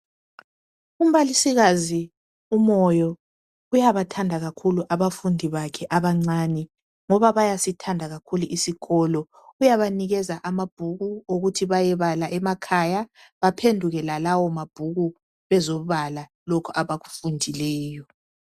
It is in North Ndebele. Umbalisikazi uMoyo uyabathanda kakhulu abafundi bakhe abancane ngoba bayasithanda kakhulu isikolo. Uyabanikeza amabhuku ukuthi bayebala emakhaya baphenduke lalawo mabhuku bezobala bakufundileyo.